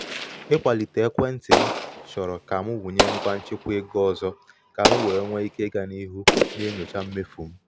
ịkwalite um ekwentị m chọrọ ka m wụnye ngwa nchịkwa ego ọzọ ka m wee nwee ike ịga n’ihu na-enyocha mmefu m.